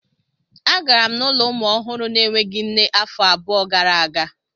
Agara m n'ụlọ ụmụ ọhụrụ na-enweghị nne afọ abụọ gara aga.